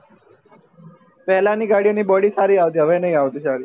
પેલા ની ગાડીઓ ની body સારી આવતી હવે નહિ